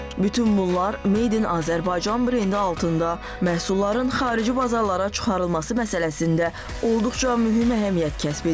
Bütün bunlar Made in Azərbaycan brendi altında məhsulların xarici bazarlara çıxarılması məsələsində olduqca mühüm əhəmiyyət kəsb edir.